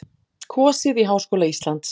Kosið í Háskóla Íslands